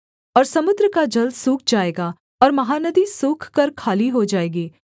और समुद्र का जल सूख जाएगा और महानदी सूख कर खाली हो जाएगी